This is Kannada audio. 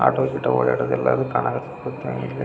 ಆಟೋ ಗಿಟೊ ಓಡಾಡೋದು ಎಲ್ಲಾನು ಕಾಣ ಕತ್ತತೆ ಇಲ್ಲಿ .